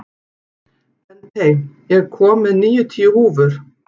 Bentey, ég kom með níutíu húfur!